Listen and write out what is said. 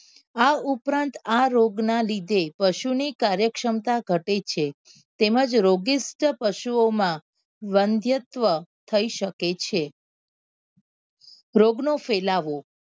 આ ઉપરાંત આ રોગ ના લીધે પશુ ની કાર્ય ક્ષમતા ઘટે છે તેમજ રોગીસ્ત પશુઓ માં વંધ્યત્વ થઇ શકે છે રોગ નો ફેલાવો